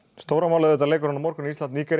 stóra málið er leikurinn á morgun Ísland Nígería